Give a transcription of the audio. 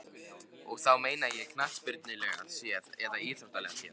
Og þá meina ég knattspyrnulega séð eða íþróttalega séð?